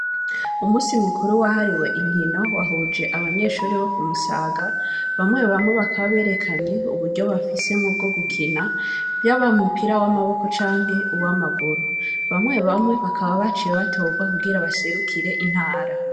Umunsi mukuru wahariwe Inkino, wahuje abanyeshure bokumusaga, bamwe bamwe bakaba berekanye, Uburyo bafise muvyo gukina, yaba umupira w'amaboko, canke uwamaguru, bamwe bamwe bakaba baciye batogwa kugira baserukire intara.